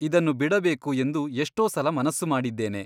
ಇದನ್ನು ಬಿಡಬೇಕು ಎಂದು ಎಷ್ಟೋ ಸಲ ಮನಸ್ಸು ಮಾಡಿದ್ದೇನೆ.